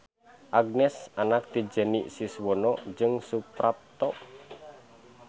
Agnes anak ti Jenny Siswono jeung Suprapto.